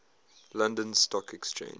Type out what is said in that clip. london stock exchange